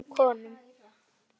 Á öðrum konum.